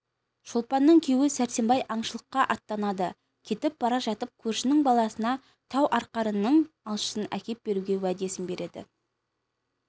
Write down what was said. шолпанның күйеуі сәрсенбай аңшылыққа аттанады кетіп бара жатып көршінің баласына тау арқарының алшысын әкеп беруге уәдесін береді